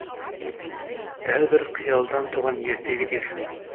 дәл бір қиялдан туған ертегі дерсің